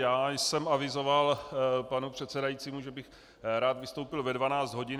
Já jsem avizoval panu předsedajícímu, že bych rád vystoupil ve 12 hodin.